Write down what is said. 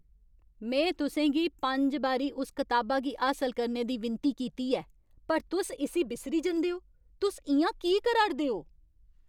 में तुसें गी पंज बारी उस कताबा गी हासल करने दी विनती कीती ऐ पर तुस इस्सी बिस्सरी जंदे ओ, तुस इ'यां की करा' रदे ओ?